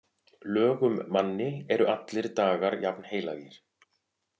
Lögum manni eru allir dagar jafnheilagir.